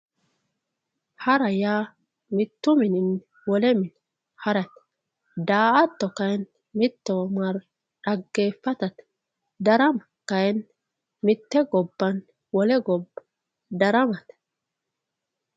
hara yaa mittu mininni wole mine harate daa''ata kayiinni mittowa marre xaggeeffatate darama kayiinni mitte gobbanni wole gobba daramate.